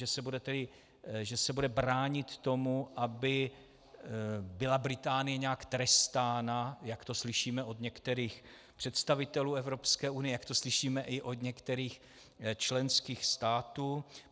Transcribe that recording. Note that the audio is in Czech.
Že se bude bránit tomu, aby byla Británie nějak trestána, jak to slyšíme od některých představitelů Evropské unie, jak to slyšíme i od některých členských států.